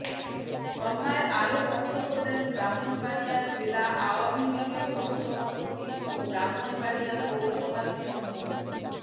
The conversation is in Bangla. সভায় আরো বক্তব্য দেন ব্রাহ্মণবাড়িয়া জেলা আওয়ামী লীগের সহসভাপতি ও ব্রাহ্মণবাড়িয়া পৌরসভার মেয়র মো